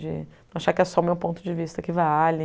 De achar que é só o meu ponto de vista que vale.